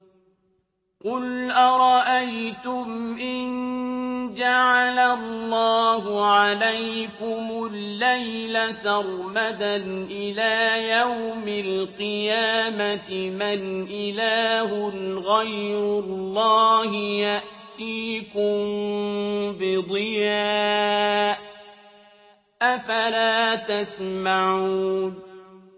قُلْ أَرَأَيْتُمْ إِن جَعَلَ اللَّهُ عَلَيْكُمُ اللَّيْلَ سَرْمَدًا إِلَىٰ يَوْمِ الْقِيَامَةِ مَنْ إِلَٰهٌ غَيْرُ اللَّهِ يَأْتِيكُم بِضِيَاءٍ ۖ أَفَلَا تَسْمَعُونَ